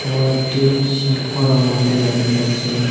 এবং একটি সিংহরও মূর্তি দেখতে পাচ্ছি।